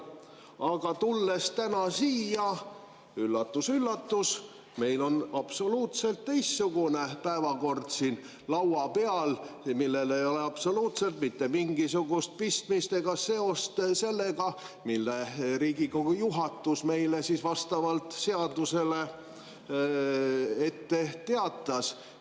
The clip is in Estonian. Aga tulles täna siia: üllatus-üllatus, meil on absoluutselt teistsugune päevakord siin laua peal, millel ei ole absoluutselt mitte mingisugust pistmist ega seost sellega, mida Riigikogu juhatus meile vastavalt seadusele ette teatas.